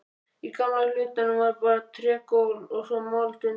Í gamla hlutanum var bara trégólf og svo mold undir.